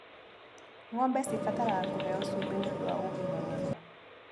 Ngombe cibataraga kũheo cumbĩ nĩũndũ wa ũgima mwega.